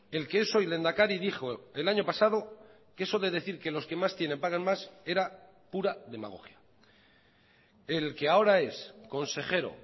el que es hoy lehendakari dijo el año pasado que eso de decir que los que más tienen pagan más era pura demagogia el que ahora es consejero